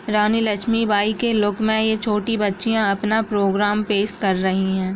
रानी लक्ष्मी बाई के लुक में यह छोटी बच्चियां अपना प्रोग्राम पेश कर रही हैं।